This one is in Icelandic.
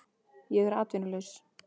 Ég er atvinnulaus